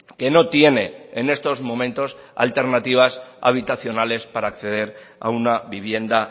que no tiene en estos momentos alternativas habitacionales para acceder a una vivienda